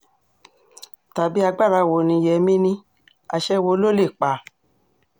tàbí agbára wo ni yémí ní àṣẹ wo ló lè pa